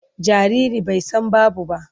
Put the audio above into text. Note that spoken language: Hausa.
Jariri bai san babu ba.